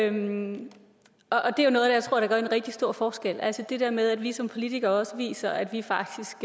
en rigtig stor forskel altså det der med at vi som politikere også viser at vi faktisk